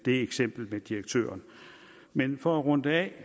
eksempel med direktøren men for at runde det